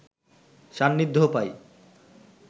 সান্নিধ্য পাই